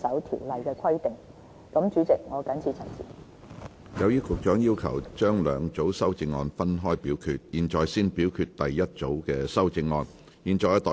由於局長要求將兩組修正案分開表決，現在先表決局長的第一組修正案。